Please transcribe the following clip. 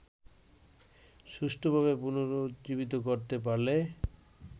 সুষ্ঠুভাবে পুনরুজ্জীবিত করতে পারলে